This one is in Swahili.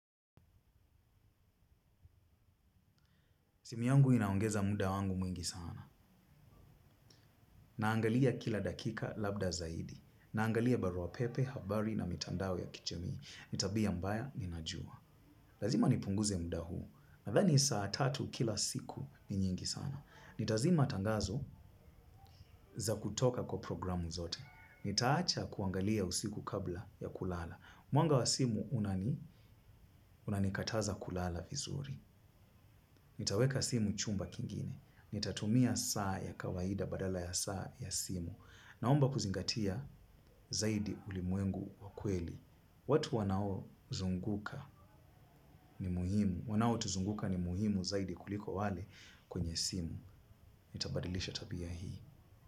Simu yangu inaongeza muda wangu mwingi sana. Naangalia kila dakika labda zaidi. Naangalia baruapepe, habari na mitandao ya kijamii. Ni tabia mbaya ninajua. Lazima nipunguze muda huu. Nadhani saa tatu kila siku ni nyingi sana. Nitazima tangazo za kutoka kwa programu zote. Nitaacha kuangalia usiku kabla ya kulala. Mwanga wa simu unani, unanikataza kulala vizuri. Nitaweka simu chumba kingine. Nitatumia saa ya kawaida badala ya saa ya simu. Naomba kuzingatia zaidi ulimwengu wa kweli. Watu wanaozunguka ni muhimu. Wanaotuzunguka ni muhimu zaidi kuliko wale kwenye simu. Nitabadilisha tabia hii.